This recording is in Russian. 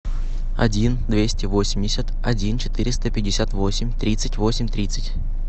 один двести восемьдесят один четыреста пятьдесят восемь тридцать восемь тридцать